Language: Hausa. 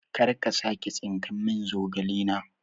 karka sake tsinkan min zogale na